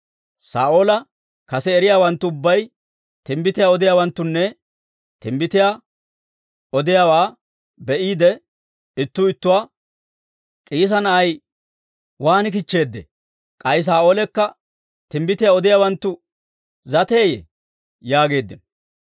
Saa'oola kase eriyaawanttu ubbay timbbitiyaa odiyaawanttunna timbbitiyaa odiyaawaa be'iide, ittuu ittuwaa, «K'iisa na'ay waan kichcheeddee? K'ay Saa'oolekka timbbitiyaa odiyaawanttu zateeyye?» yaageeddino.